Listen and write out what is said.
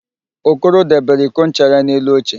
Okoro debere iko ncha ya n'elu oche